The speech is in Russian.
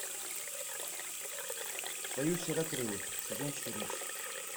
союз серокрылых сезон четырнадцать